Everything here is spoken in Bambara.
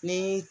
Ni